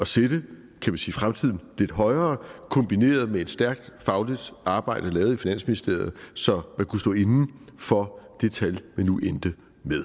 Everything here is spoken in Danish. sætte fremtiden lidt højere kombineret med et stærkt fagligt arbejde lavet i finansministeriet så man kunne stå inde for det tal man nu endte